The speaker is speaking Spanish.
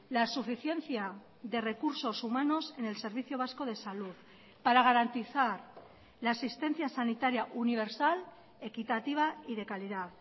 la suficiencia de recursos humanos en el servicio vasco de salud para garantizar la asistencia sanitaria universal equitativa y de calidad